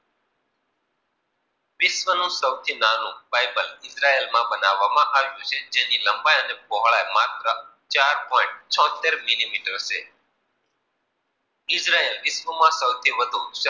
વિશ્વ નું સૌથી નાનુ પાયપલ ઈજરાયલ માં બનાવામાં, આવ્યું છે જેની લંબાઈ અને પહોળાઈ, માત્ર ચાર પોઇન્ટ ચોહતેર મિલી મીટર છે. ઈજરાયલ વિશ્વ માં સૌથી વધુ,